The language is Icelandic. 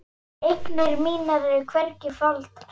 Eignir mínar eru hvergi faldar.